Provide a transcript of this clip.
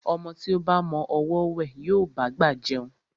Ọmọ tí ó ba mọ ọwọ́ wẹ̀, yóò bá'gbà jẹun.